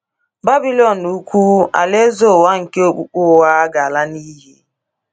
Babilọn Ukwu, alaeze ụwa nke okpukpe ụgha, ga-ala n’iyi.